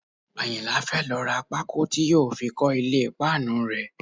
Àyìnlá fẹ́ lọ ra pákó tí yóò fi kọ́ ilé páànù rẹ̀